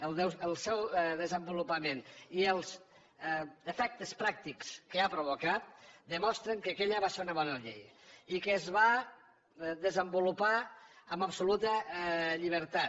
el seu desenvolupament i els efectes pràctics que ha provocat demostren que aquella va ser una bona llei i que es va desenvolupar amb absoluta llibertat